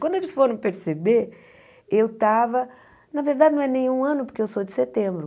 Quando eles foram perceber, eu estava... Na verdade, não é nem um ano, porque eu sou de setembro.